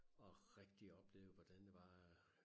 Og rigtig oplevede hvordan det var at